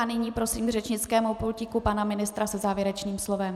A nyní prosím k řečnickému pultíku pana ministra se závěrečným slovem.